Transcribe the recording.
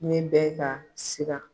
Ne bɛ ka siran